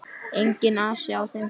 Enginn asi á þeim.